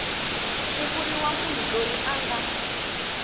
ku vuriwa munhu loyi anga